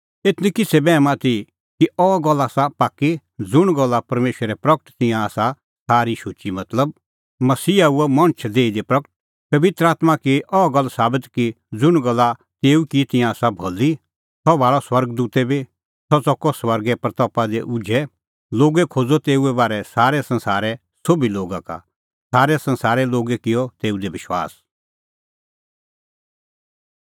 एथ निं किछ़ै बैहम आथी कि अह गल्ल आसा पाक्की ज़ुंण गल्ला परमेशरै प्रगट की तिंयां आसा सारी शुची मतलब मसीहा हुअ मणछ देही दी प्रगट पबित्र आत्मां की अह गल्ल साबत कि ज़ुंण गल्ला तेऊ की तिंयां आसा भली सह भाल़अ स्वर्ग दूतै बी सह च़कअ स्वर्गे महिमां दी उझै लोगै खोज़अ तेऊए बारै सारै संसारे सोभी लोगा का सारै संसारे लोगै किअ तेऊ दी विश्वास